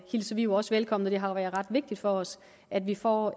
hilser vi jo også velkommen det har været ret vigtigt for os at vi får